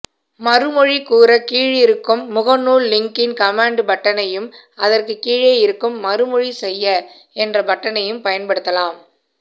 மறுமொழி கூற கீழிருக்கும் முகநூல் லிங்கின் கமென்ட் பட்டனையும் அதற்கு கீழே இருக்கும் மறுமொழி செய்ய என்ற பட்டனையும் பயன்படுத்தலாம்